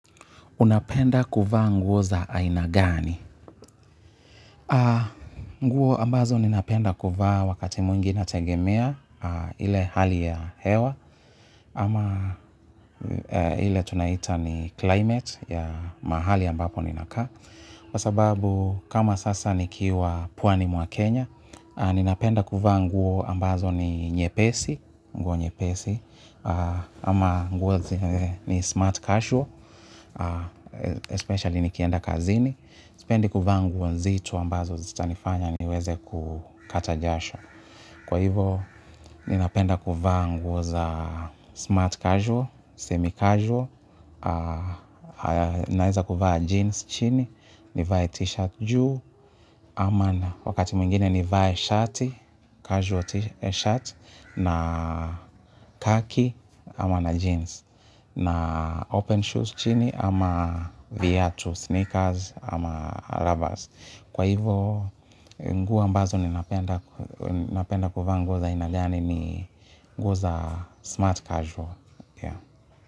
Unapenda kuvaa nguo za aina gani? Nguo ambazo ninapenda kuvaa wakati mwingi nategemea ile hali ya hewa ama ile tunaita ni climate ya mahali ambapo ninakaa. Kwasababu kama sasa nikiwa pwani mwa Kenya, ninapenda kuvaa nguo ambazo ni nyepesi, nguo nyepesi. Ama nguo zenye ni smart casual Especially nikienda kazini. Sipendi kuvaa nguo nzito ambazo zitanifanya niweze kukata jasho. Kwa hivo, ninapenda kuvaa nguo za smart casual, semi casual. Naeza kuvaa jeans chini. Ni vae t-shirt juu wakati mwingine ni vye shati, casual shirt na khaki ama na jeans na open shoes chini ama viatu, sneakers ama rubbers kwa hivo nguo mbazo ninapenda kuvaa nguo za aina gani nguo za smart casual.